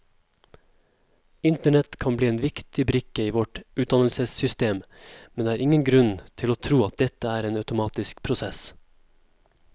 Internett kan bli en viktig brikke i vårt utdannelsessystem, men det er ingen grunn til å tro at dette er en automatisk prosess.